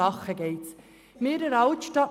Worum geht es?